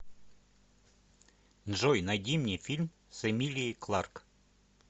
джой найди мне фильм с эмилией кларк